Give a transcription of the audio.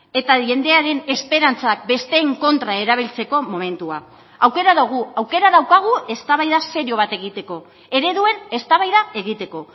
eta jendearen esperantzak besteen kontra erabiltzeko momentua aukera dugu aukera daukagu eztabaida serio bat egiteko ereduen eztabaida egiteko